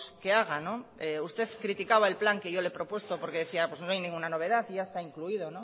que haga no usted criticaba el plan que yo le he propuesto porque decía pues no hay ninguna novedad porque ya está incluido